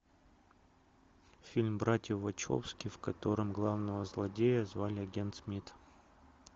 фильм братья вачовски в котором главного злодея звали агент смит